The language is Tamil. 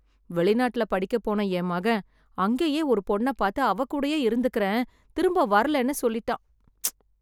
வெளிநாட்ல படிக்கப் போன என் மகன் அங்கேயே ஒரு பொண்ண பாத்து அவ கூடயே இருந்துக்குறேன், திரும்ப வரலேன்னு சொல்லிட்டான். ப்ச்.